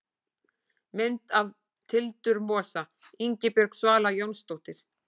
Mynd af tildurmosa: Ingibjörg Svala Jónsdóttir.